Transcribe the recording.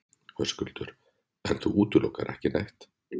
Höskuldur: En þú útilokar ekki neitt?